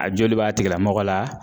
A joli b'a tigilamɔgɔ la